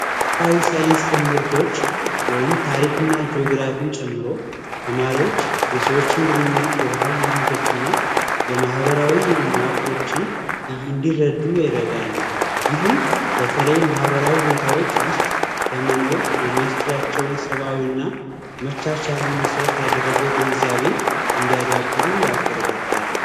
ማህበራዊ ሳይንስ ትምህርቶች ወይም ታሪክና ጂዮግራፊ ጨምሮ ተማሪዎች የሰዎችን ግንኙነት የባህል የማህበራዊ መዋቅሮችን እንዲረዱ ይረዳል ይህም በተለይ ማህበራዊ ሁኔታዎች ውስጥ ለመኖር የሚያስችላቸውን ሰብዓዊና መቻቻልን መሰረት ያደረገ ግንዛቤ እንዲያዳበሩ ያበረታታል።